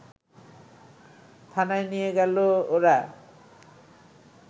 থানায় নিয়ে গেল ওরা